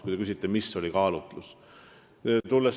Kui te küsite, mis oli kaalutlus, siis see oligi kaalutlus.